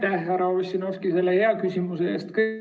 Aitäh, härra Ossinovski, selle hea küsimuse eest!